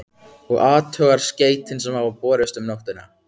Og athugar skeytin sem hafa borist um nóttina?